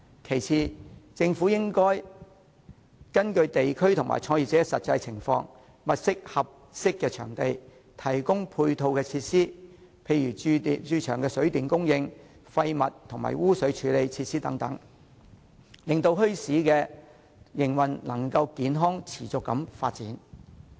其次，政府應根據地區和創業者的實際情況，物色合適場地，提供配套設施，例如駐場的水電供應、廢物及污水處理設施等，令墟市的營運能夠健康持續地發展。